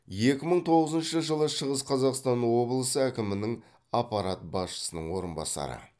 екі мың тоғызыншы жылы шығыс қазақстан облысы әкімінің аппарат басшысының орынбасары